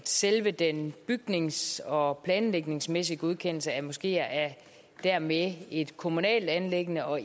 selve den bygnings og planlægningsmæssige godkendelse af moskeer er dermed et kommunalt anliggende og